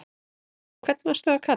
hvern varstu að kalla?